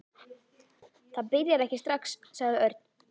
Það byrjar ekki strax, sagði Örn.